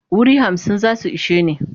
Wuri hamsin za su ishe ni.